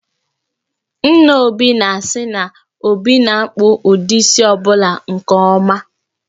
Nna Obi na-asị na, Obi na-akpụ ụdị isi ọ bụla nke ọma